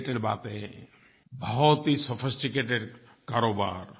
related बातें बहुत ही सोफिस्टिकेटेड कारोबार